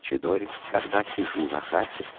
чидори когда сижу на хате